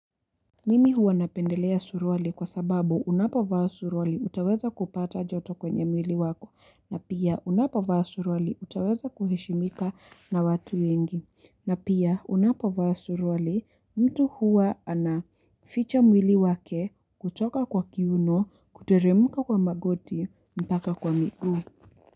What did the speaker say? Mimi huwa napendelea suruale kwa sababu unapovaa suruale utaweza kupata joto kwenye mwili wako na pia unapovaa suruale utaweza kuheshimika na watu wengi na pia unapovaa suruale mtu huwa anaficha mwili wake kutoka kwa kiuno kuteremka kwa magoti mpaka kwa miguu.